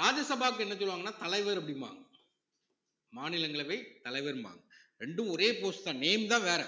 ராஜ்யசபாவுக்கு என்ன சொல்லுவாங்கன்னா தலைவர் அப்படிம்பாங்க மாநிலங்களவை தலைவர்ம்பாங்க ரெண்டும் ஒரே post தான் name தான் வேற